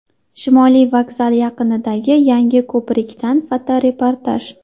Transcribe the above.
Shimoliy vokzal yaqinidagi yangi ko‘prikdan fotoreportaj .